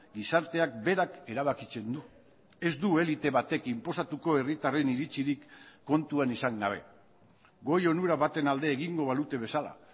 gizarteak berak erabakitzen du ez du elite batek inposatuko herritarren iritzirik kontuan izan gabe goi onura baten alde egingo balute bezala